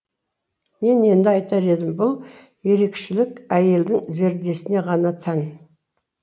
мен енді айтар едім бұл ерекшелік әйелдің зердесіне ғана тән